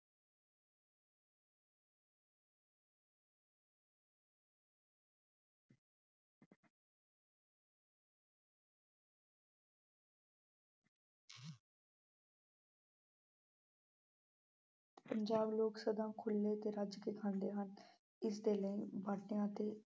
ਪੰਜਾਬ ਲੋਕ ਸਦਾ ਖੁੱਲ੍ਹੇ ਅਤੇ ਰੱਜ ਕੇ ਖਾਂਦੇ ਹਨ ਇਸਦੇ ਲਈ ਬਾਟਿਆਂ ਅਤੇ